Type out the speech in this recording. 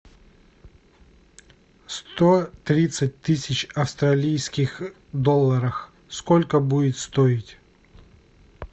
сто тридцать тысяч австралийских долларов сколько будет стоить